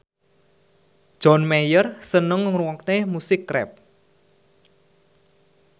John Mayer seneng ngrungokne musik rap